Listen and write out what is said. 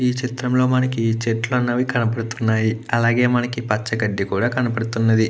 ఈ చిత్రం లో మనకి చెట్లు అన్నవి కనబడుతునాయి. అలాగే మనకు పచ్చ గడ్డి కూడ కనపడుతున్నది.